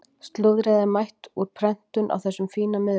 Slúðrið er mætt úr prentun á þessum fína miðvikudegi.